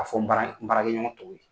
K'a fɔ n baara n baarakɛ ɲɔgɔn tɔw ye.